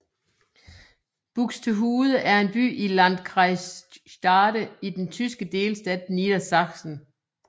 Buxtehude er en by i Landkreis Stade i den tyske delstat Niedersachsen